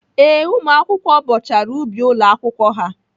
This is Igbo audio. Ee, ụmụakwụkwọ bọchara ubi ụlọ akwụkwọ ha.